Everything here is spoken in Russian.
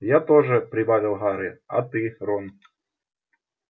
я тоже прибавил гарри а ты рон